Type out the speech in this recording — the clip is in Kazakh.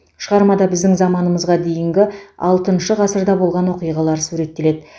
шығармада біздің заманымызға дейінгі алтыншы ғасырда болған оқиғалар суреттеледі